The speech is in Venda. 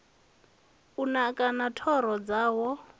u naka na thoro dzawo